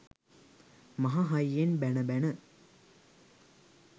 මහ හයියෙන් බැණ බැණ